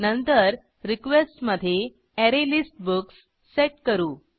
नंतर रिक्वेस्ट मधे array list books set करू